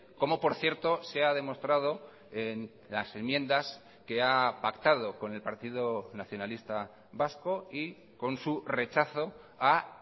como por cierto se ha demostrado en las enmiendas que ha pactado con el partido nacionalista vasco y con su rechazo a